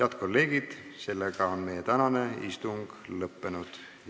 Head kolleegid, meie tänane istung on lõppenud.